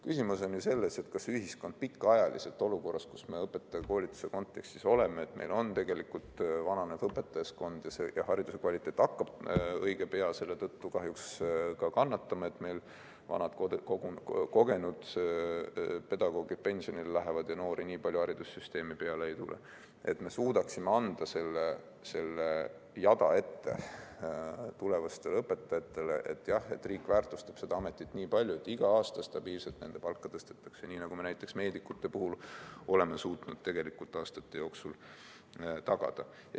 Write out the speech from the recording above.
Küsimus on ju selles, et me olukorras, kus me õpetajakoolituse kontekstis oleme – meil on vananev õpetajaskond ja hariduse kvaliteet hakkab õige pea selle tõttu kahjuks ka kannatama, et vanad kogenud pedagoogid pensionile lähevad ja noori nii palju haridussüsteemi peale ei tule –, suudaksime anda selle jada tulevastele õpetajatele ette, et jah, riik väärtustab seda ametit nii palju, et iga aasta stabiilselt nende palka tõstetakse, nii nagu me näiteks meedikute puhul oleme suutnud tegelikult aastate jooksul tagada.